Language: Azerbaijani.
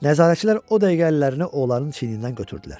Nəzarətçilər o dəyənəklərini oğlanın çiynindən götürdülər.